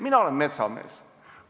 Mina olen metsamees.